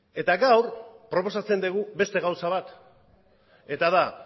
eta gaur proposatzen dugu beste gauza bat eta da